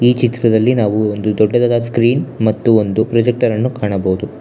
ಚಿತ್ರದಲ್ಲಿ ನಾವು ಒಂದು ದೊಡ್ಡದಾದ ಸ್ಕ್ರೀನ್ ಮತ್ತು ಒಂದು ಪ್ರೊಜೆಕ್ಟರ್ ಅನ್ನು ಕಾಣಬಹುದು.